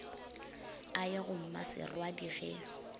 a ye go mmaserwadi ge